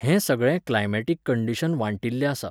हें सगळें climatic condition वाटिल्ल्ये आसा.